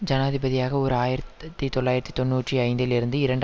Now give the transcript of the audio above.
ஜனாதிபதியாக ஓர் ஆயிரத்தி தொள்ளாயிரத்தி தொன்னூற்றி ஐந்தில் இருந்து இரண்டு